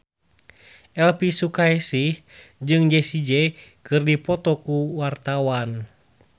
Elvi Sukaesih jeung Jessie J keur dipoto ku wartawan